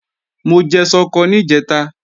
Mo jẹ ṣọkọ níjẹ̀ta